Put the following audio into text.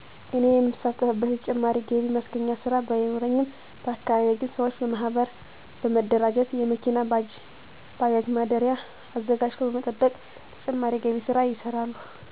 እኔ የምሳተፍበት የተጨማሪ ገቢ ማስገኛ ስራ ባይኖረኝም በአካባቢየ ግን ሰወች በመሀበር በመደራጀት የመኪናና ባጃጅ ማደሪያ አዘጋጅተው በመጠበቅ የተጨማሪ ገቢ ስራ ይሰራሉ።